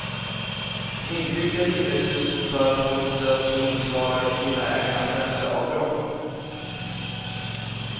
Nybyggda hyreshus bör få ett stöd som motsvarar villaägarnas ränteavdrag.